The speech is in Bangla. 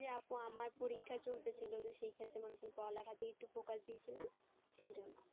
যে আপু আমার পরীক্ষা ছিল তো সেই ক্ষেত্রে মনে করুন পড়ালেখার দিকে একটু focus দিয়েছিলাম সেই জন্য।